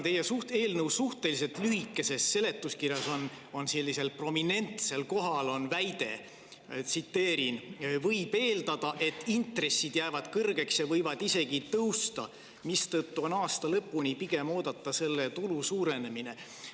Teie eelnõu suhteliselt lühikeses seletuskirjas on prominentsel kohal selline väide: "Võib eeldada, et intressid jäävad kõrgeks ja võivad isegi tõusta, mistõttu on aasta lõpuni pigem oodata selle tulu suurenemine.